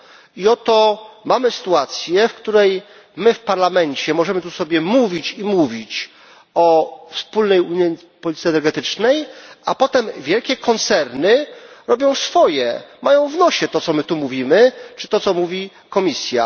I oto mamy sytuację, w której my w Parlamencie możemy tu sobie mówić i mówić o wspólnej unijnej polityce energetycznej, a potem wielkie koncerny robią swoje, mają w nosie to, co my tu mówimy, czy to, co mówi Komisja.